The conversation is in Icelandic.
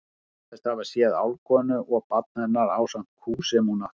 Hann segist hafa séð álfkonu og barn hennar ásamt kú sem hún átti.